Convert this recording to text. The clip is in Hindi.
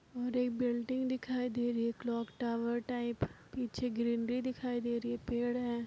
बिल्डिंग दिखाई दे रही है क्लॉक टावर टाइप । पीछे ग्रीनरी दिखाई दे रही है पेड़ है।